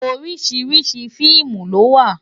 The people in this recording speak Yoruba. Óriṣiriṣi fiimú lòwá